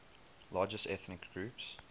largest ethnic groups